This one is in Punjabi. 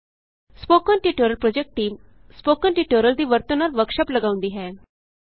spoken tutorial project team spoken tutorial ਦੀ ਵਰਤੋਂ ਨਾਲ ਵਰਕਸ਼ਾਪ ਲਗਾਉਂਦੀ ਹੈ